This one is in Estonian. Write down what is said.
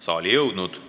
saali jõudnud.